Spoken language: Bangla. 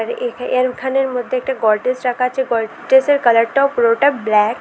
এ-এরখানের মধ্যে একটা গডরেজ রাখা আছে গডরেজের কালারটাও পুরোটা ব্ল্যাক ।